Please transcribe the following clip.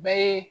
Bɛɛ ye